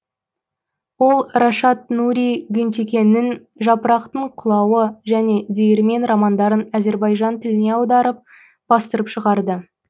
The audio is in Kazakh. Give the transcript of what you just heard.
ол рашад нури гюнтекиннің жапырақтың құлауы және диірмен романдарын азербайжан тіліне аударып бастырып шығарды